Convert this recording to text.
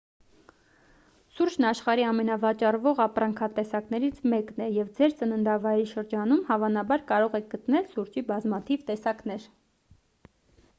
սուրճն աշխարհի ամենավաճառվող ապրանքատեսակներից մեկն է և ձեր ծննդավայրի շրջանում հավանաբար կարող եք գտնել սուրճի բազմաթիվ տեսակներ